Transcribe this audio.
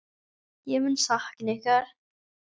Ég mun sakna ykkar.